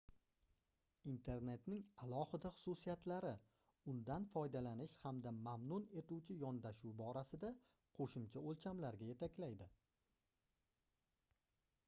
internetning alohida xususiyatlari undan foydalanish hamda mamnun etuvchi yondashuv borasida qoʻshimcha oʻlchamlarga yetaklaydi